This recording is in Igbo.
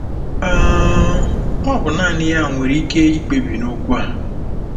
um Ọ bụ naanị ya nwere ike ikpebi n'okwu a.